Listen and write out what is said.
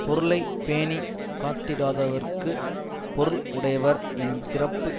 பொருளை பேணி காத்திடாதவர்க்குப் பொருள் உடையவர் என்னும் சிறப்பு